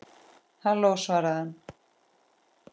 Halló, svaraði hann.